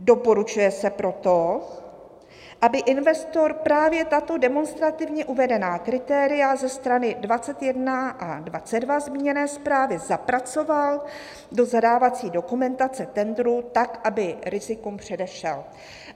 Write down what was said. Doporučuje se proto, aby investor právě tato demonstrativně uvedená kritéria ze strany 21 a 22 zmíněné zprávy zapracoval do zadávací dokumentace tendru tak, aby rizikům předešel."